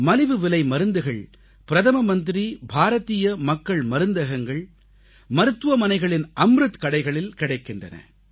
மலிவு விலை மருந்துகள் பிரதமர் பாரதீய மக்கள் மருந்தகங்கள் மருத்துவமனைகளின் அம்ருத் கடைகளில் கிடைக்கின்றன